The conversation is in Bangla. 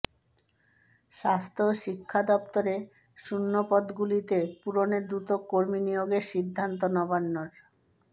স্বাস্থ্য ও শিক্ষা দপ্তরে শূন্যপদগুলিতে পূরণে দ্রুত কর্মী নিয়োগের সিদ্ধান্ত নবান্নর